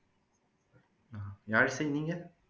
யாழிசை நீங்க